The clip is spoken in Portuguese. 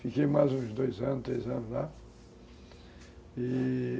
Fiquei mais uns dois anos, três anos lá.